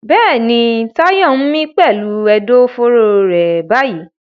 Bẹ́ẹ̀ni, Tayo ń mí pẹ̀lú ẹ̀dọ̀fóró rẹ̀ báyìí.